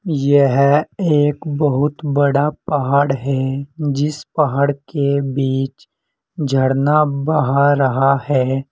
यह एक बहुत बड़ा पहाड़ है जिस पहाड़ के बीच झरना बह रहा है।